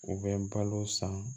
U bɛ balo san